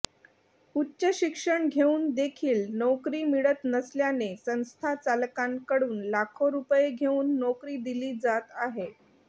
उच्चशिक्षण घेऊन देखील नोकरी मिळत नसल्याने संस्था चालकांकडून लाखो रूपये घेऊन नोकरी दिली जात आहे